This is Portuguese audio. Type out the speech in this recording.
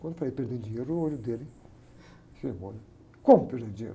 Quando eu falei perdendo dinheiro, o olho dele firmou, né? Como perdendo dinheiro?